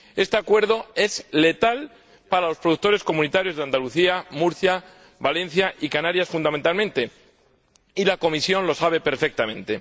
Este acuerdo es letal para los productores comunitarios de Andalucía, Murcia, Valencia y Canarias fundamentalmente, y la Comisión lo sabe perfectamente.